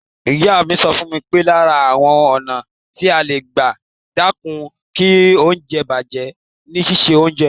Ìyá mi sọ fún mi pé lára àwọn ọ̀nà tí à ń gbà dẹ́kun kí oúnjẹ bàjẹ́ ni síse oúnjẹ.